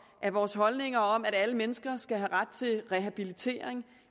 at vores holdninger om at alle mennesker skal have ret til rehabilitering